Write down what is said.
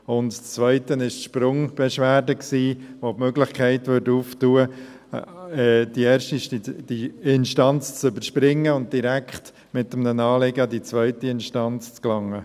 Das Zweite war die Sprungbeschwerde, welche die Möglichkeit öffnet, die erste Instanz zu überspringen und direkt mit einem Anliegen an die zweite Instanz zu gelangen.